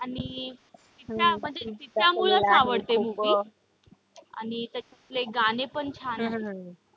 आणि तिचा म्हणजे तिच्या मुळेच आवडते movie आणि त्याच्यातले गाणे पण छान आहेत.